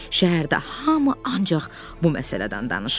Şəhərdə hamı ancaq bu məsələdən danışırdı.